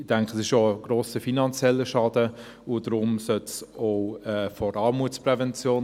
Ich denke, es ist auch ein grosser finanzieller Schaden, und daher sollte es auch von der Armutsprävention …